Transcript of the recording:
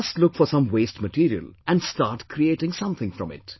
Just look for some waste material and start creating something from it